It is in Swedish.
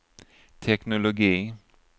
teknologi